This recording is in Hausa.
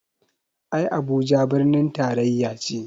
Ai Abuja birnin taraya ce